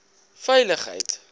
veiligheid